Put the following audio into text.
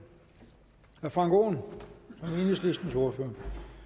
frank aaen som enhedslistens ordfører